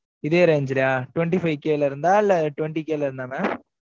இதே range லயா twenty-five K ல இருந்ததா? இல்லை, twenty K ல இருந்தா mam